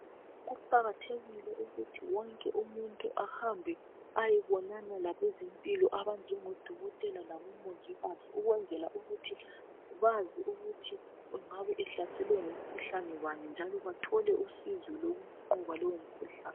Kuqakathekile ukuthi wonke umuntu ahambe ayebonana labezempilo abanjengabo dokotela labomongikazi ukwenzela ukuthi bazi ukuthi engabe ehlaselwe ngumkhuhlane bani njalo bethole usizo lokunqoba lowo mkhuhlane.